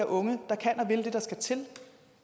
unge der kan og vil det der skal til